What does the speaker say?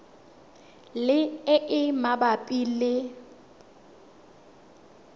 le e e mabapi le